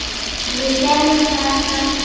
Ég gerði það samt ekki.